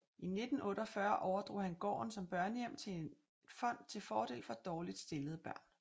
I 1948 overdrog han gården som børnehjem til et fond til fordel for dårligt stillede børn